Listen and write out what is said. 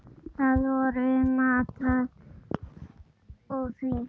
Það voru matur og vín.